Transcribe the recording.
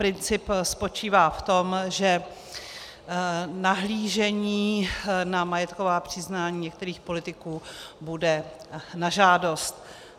Princip spočívá v tom, že nahlížení na majetková přiznání některých politiků bude na žádost.